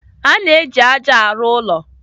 A na-eji ájá arụ ụlọ.